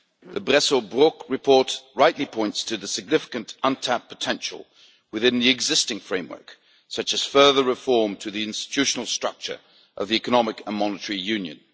The Bresso Brok report rightly points to the significant, untapped potential within the existing framework, such as further reform to the institutional structure of economic and monetary union.